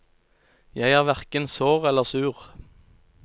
Jeg er hverken sår eller sur.